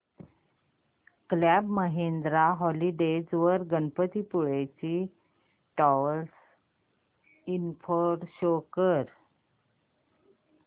club Mahindra holidays वर गणपतीपुळे ची travel info show कर